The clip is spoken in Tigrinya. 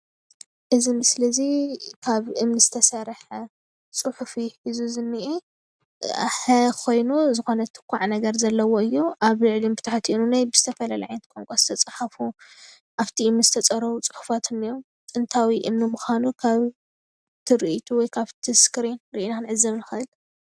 እዚ ምስሊ እዚ ካብ እምኒ ዝተሰርሐ ፅሑፍ እዩ እዚ ዝንኤ ሐ ኾይኑ ዝኾነ ትኳዕ ነገር ዘለዎ እዩ፡፡ ኣብ ልዕሊኡን ብታሕትን ዉነይ ብዝተፈላለዩ ዓይነት ቛንቛ ዝተፅሓፉ ኣፍቲ እምኒ ዝተፀረበ ፁሑፋት እንኤዉ ጥንታዊ እምኒ ምዃኑ ካብ ትሪኢቱ ወይ ካፍቲ እስክሪን ሪኢና ክንዕዘብ ንኽእል፡፡